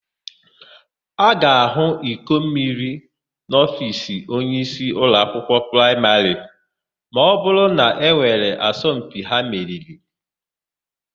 A ga-ahụ ikommeri n'ofiisi onyeisi ụlọakwụkwọ praịmarị ma ọbụrụ na e nwere asọmpi ha meriri.